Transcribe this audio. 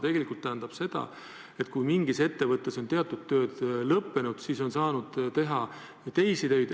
See tähendab seda, et kui mingis ettevõttes on teatud tööd lõppenud, siis on saanud teha teisi töid.